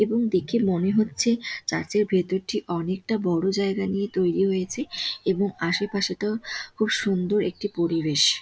এবং দেখে মনে হচ্ছে চার্চ -এর ভিতরটি অনেকটা বড়ো জায়গা নিয়ে তৈরী হয়েছে এবং আশেপাশে তো খুব সুন্দর একটি পরিবেশ ।